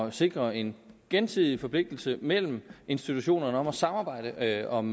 at sikre en gensidig forpligtelse mellem institutionerne om at samarbejde om